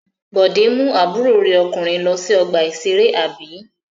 Bọ̀dé mú àbúrò rẹ̀ ọkùnrin lọ sí ọgbà-ìṣeré, àbí?